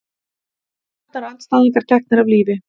Stjórnarandstæðingar teknir af lífi